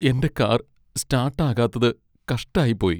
എന്റെ car start ആകാത്തത് കഷ്ടായിപ്പോയി.